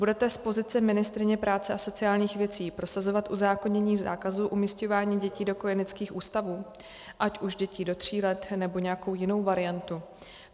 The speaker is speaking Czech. Budete z pozice ministryně práce a sociálních věcí prosazovat uzákonění zákazu umísťování dětí do kojeneckých ústavů, ať už děti do tří let, nebo nějakou jinou variantu?